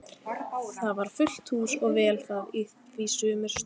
Það var fullt hús og vel það, því sumir stóðu.